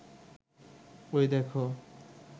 ওই দেখো